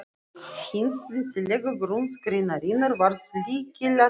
Efling hins vísindalega grunns greinarinnar varð lykilatriði.